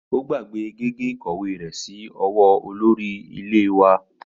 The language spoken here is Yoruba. Ó gbàgbé gègé ìkọ̀wé rẹ̀ sí ọwọ́ olórí iléèwé náà